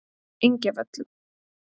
Engjavöllum